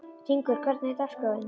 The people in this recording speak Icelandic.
Hringur, hvernig er dagskráin?